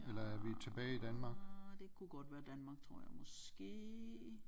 Nej det kunne godt være Danmark tror jeg måske